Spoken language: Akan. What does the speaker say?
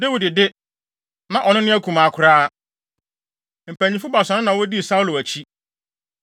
Dawid de, na ɔno ne akumaa koraa. Mpanyimfo baasa no na wodii Saulo akyi,